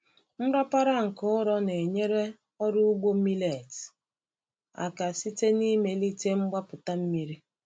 Nrapara nke ụrọ na-enyere ọrụ ugbo millet aka site n’ịmelite mgbapụta mmiri.